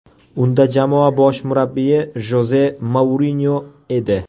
Unda jamoa bosh murabbiyi Joze Mourinyo edi.